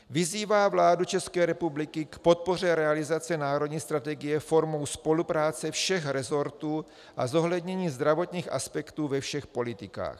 Vyzývá vládu České republiky k podpoře realizace národní strategie formou spolupráce všech resortů a zohlednění zdravotních aspektů ve všech politikách.